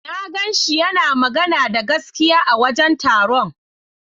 Na ganshi yana magana da gaskiya a wajen taron.